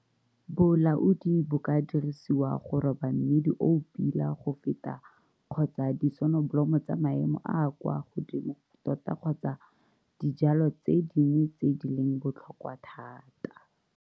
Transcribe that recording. Bolaodi bo ka dirisiwa go roba mmidi o o pila go feta kgotsa disonobolomo tsa maemo a a kwa godimo tota kgotsa dijwalwa tse dingwe tse di leng botlhokwa thata.